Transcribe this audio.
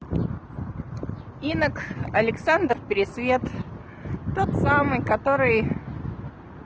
инок александр пересвет тот самый который